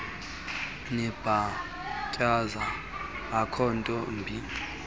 nibhatyaza akhonto imbi